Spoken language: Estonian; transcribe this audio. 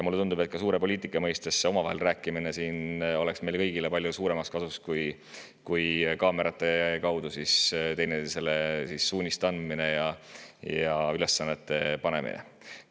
Mulle tundub, et ka suure poliitika mõttes tuleks omavahel rääkimine meile kõigile palju rohkem kasuks kui kaamerate kaudu teineteisele suuniste andmine ja ülesannete panemine.